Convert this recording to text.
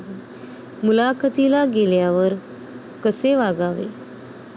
मुलाखतीला गेल्यावर कसे वागावे?